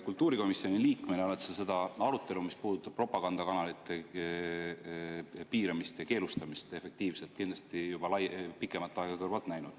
Kultuurikomisjoni liikmena oled sa seda arutelu, mis puudutab propagandakanalite piiramist ja efektiivselt keelustamist, kindlasti juba pikemat aega kõrvalt näinud.